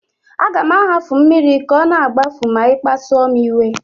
Aga m ahapụ mmiri ka ọ na-agbafu ma ị kpasuo m iwe